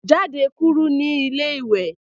Jádẹ̀ kúrù ní ilẹ̀-ìwé.